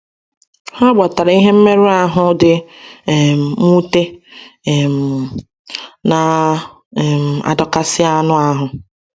Ha gbatara ihe mmerụ ahụ di um nwute um, na - um adọkasị anụ ahụ.